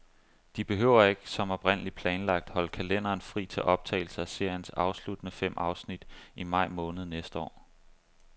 De behøver ikke, som oprindeligt planlagt, holde kalenderen fri til optagelse af seriens afsluttende fem afsnit i maj måned næste år.